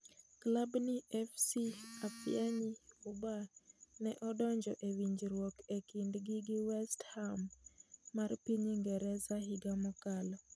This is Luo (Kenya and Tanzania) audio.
Klab ni FC Ifeanyi Ubah ne odonjo e winjruok e kindgi gi west ham mar piny Ingresa higa mokalo.